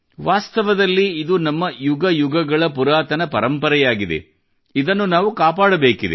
ವಾಸ್ತವದಲ್ಲಿ ಇದು ನಮ್ಮ ಯುಗಯುಗಗಳ ಪುರಾತನ ಪರಂಪರೆಯಾಗಿದೆ ಇದನ್ನು ನಾವು ಕಾಪಾಡಬೇಕಾಗಿದೆ